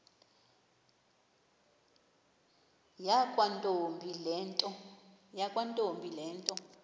yakwantombi le nto